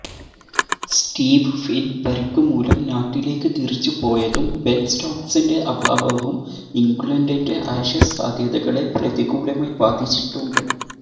Steve Finn പരിക്കുമൂലം നാട്ടിലേക്ക് തിരിച്ചുപോയതും ബെന് സ്റ്റോക്ക്സിന്റെ അഭാവവും ഇംഗ്ലണ്ടിന്റെ ആഷസ് സാധ്യതകളെ പ്രതികൂലമായി ബാധിച്ചിട്ടുണ്ട്